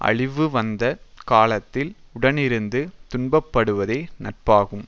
அழிவுவந்த காலத்தில் உடனிருந்து துன்பப்படுவதே நட்பாகும்